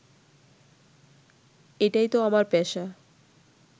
এটাই তো আমার পেশা